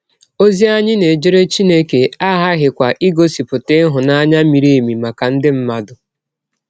Ọzi anyị na - ejere Chineke aghaghịkwa igọsipụta ịhụnanya miri emi maka ndị mmadụ.